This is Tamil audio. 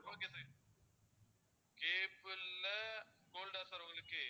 okay sir cable ல gold ஆ sir உங்களுக்கு